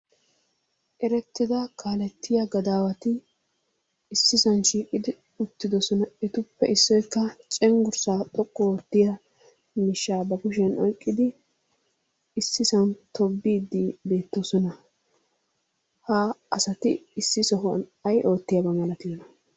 Erettida kaalettiya gadaawati issisan shiiqidi uttidosona. Etuppe issoykka cenggurssaa xoqqu oottiyaa miishshaa ba kushiyan oyqqidi issisan tobbiidi beettoosona. Ha asati issi sohuwan ay oottiyaba malatiyoona?